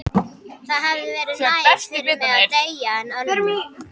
Það hefði verið nær fyrir mig að deyja en Ölmu.